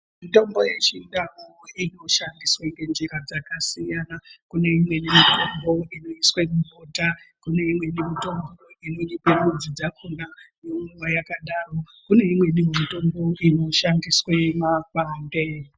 Mitombo yechiNdau inoshandiswe ngenjira dzakasiyana. Kune imweni mitombo inoiswe mubota, kune imweni mitombo inonyikwe midzi dzakona yomwiwa yakadaro, kune imwenihe mitombo inoshandiswe makwande.